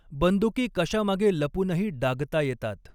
बंदुकी कशामागे लपूनही डागता येतात.